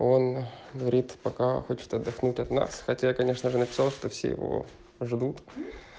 он говорит пока хочет отдохнуть от нас хотя конечно же написал что все его ждут